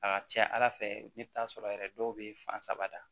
A ka ca ala fɛ i bi t'a sɔrɔ yɛrɛ dɔw bɛ fan saba ta